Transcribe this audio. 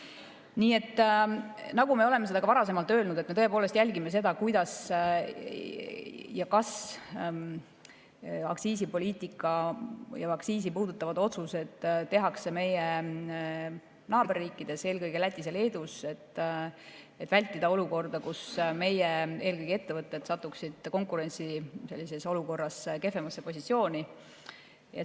Nii nagu me oleme seda ka varem öelnud, me tõepoolest jälgime seda, kuidas ja kas aktsiisipoliitikat ja aktsiisi puudutavaid otsuseid tehakse meie naaberriikides, eelkõige Lätis ja Leedus, et vältida olukorda, kus meie ettevõtted satuksid konkurentsiolukorras kehvemasse positsiooni.